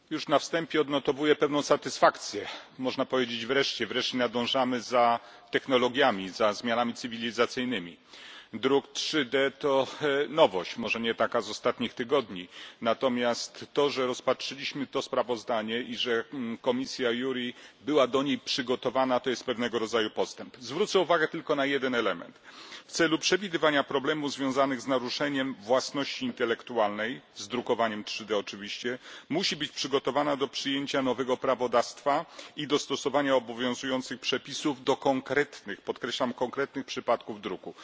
Panie Przewodniczący! Już na wstępie odnotowuję pewną satysfakcję. Można powiedzieć, że nadążamy za technologiami, za zmianami cywilizacyjnymi. Druk 3D to nowość, może nie taka z ostatnich tygodni, ale fakt, że rozpatrzyliśmy to sprawozdanie i że komisja JURI była do tej nowości przygotowana, to pewnego rodzaju postęp. Zwrócę uwagę tylko na jeden element aby przewidywać problemy związane z naruszeniem własności intelektualnej, z drukowaniem 3D oczywiście, komisja musi być przygotowana do przyjęcia nowego prawodawstwa i dostosowania obowiązujących przepisów do konkretnych, podkreślam, konkretnych przypadków druku.